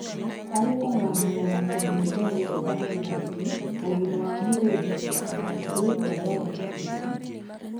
Harĩ kung'ang'ana na kũhingwo nĩũndũ wa kĩng'ũki, ũgima wa mwirĩ na mĩhĩnga ya ũgitĩri